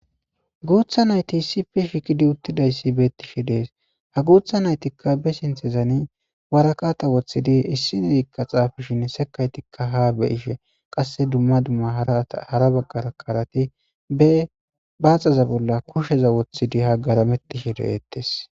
Guutha nayti issife shikidi uttidayssi bettishe dees ha guutha naytikka be sinthezani warakata woththidi issi neyikka xaafishin sekaytikka ha be ishe qasse dumma dumma hara baggara karati be baaxaza bolla kusheza woththidi hagarametishe de'eettes.